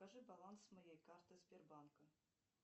скажи баланс моей карты сбербанка